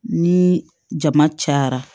Ni jama cayara